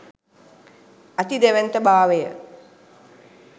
අති දැවැන්ත භාවය